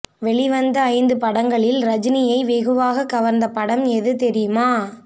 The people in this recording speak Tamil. வௌிவந்த ஐந்து படங்களில் ரஜனியை வெகுவாக கவர்ந்த படம் எது தெரியுமா